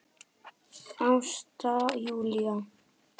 Ásta Júlía.